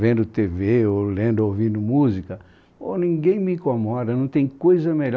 vendo te ve ou lendo ou ouvindo música, ninguém me incomoda, não tem coisa melhor.